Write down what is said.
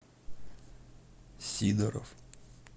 сидоров